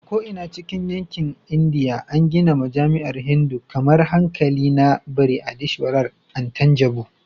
A ko'ina cikin yankin Indiya, an gina majami'an Hindu kamar Haikali na Brihadeeswarar a Thanjavur.